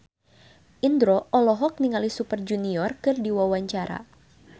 Indro olohok ningali Super Junior keur diwawancara